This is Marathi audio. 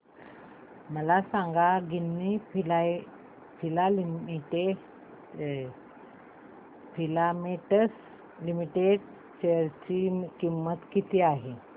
मला सांगा गिन्नी फिलामेंट्स लिमिटेड च्या शेअर ची किंमत किती आहे